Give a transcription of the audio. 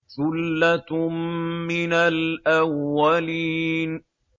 ثُلَّةٌ مِّنَ الْأَوَّلِينَ